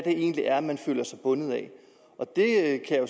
egentlig er man føler sig bundet af